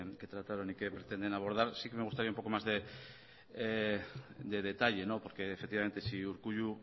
que trataron y que pretenden abordar sí que me gustaría un poco más de detalle porque efectivamente si urkullu